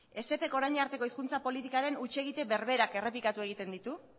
esep ek orain arteko hizkuntza politikaren huts egite berberak errepikatu egiten ditu